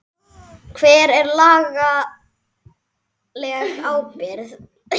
Hver er lagaleg ábyrgð?